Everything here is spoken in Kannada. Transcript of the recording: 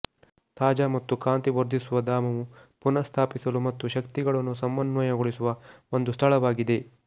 ತಾಜಾ ಮತ್ತು ಕಾಂತಿ ವರ್ಧಿಸುವ ಧಾಮವು ಪುನಃಸ್ಥಾಪಿಸಲು ಮತ್ತು ಶಕ್ತಿಗಳನ್ನು ಸಮನ್ವಯಗೊಳಿಸುವ ಒಂದು ಸ್ಥಳವಾಗಿದೆ